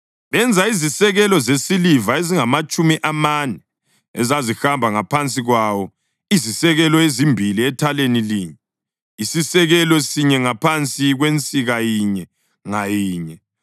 benza izisekelo zesiliva ezingamatshumi amane ezazihamba ngaphansi kwawo, izisekelo ezimbili ethaleni linye, isisekelo sinye ngaphansi kwensika inye ngayinye.